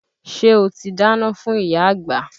Ṣé o ti dáná fún ìyá àgbà?